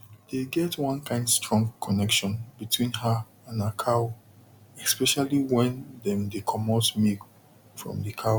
dey get one kind strong connection between her and her cow especially wen dem dey comot milk from the cow